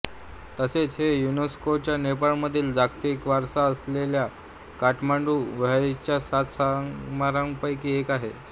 तसेच हे युनेस्को च्या नेपाळ मधील जागतिक वारसा असलेलया काठमांडू व्हॅलीच्या सात स्मारकांपैकी एक आहे